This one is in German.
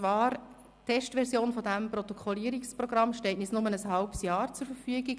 Die Testversion dieses Protokollierungsprogramms steht uns nur während eines halben Jahres zur Verfügung.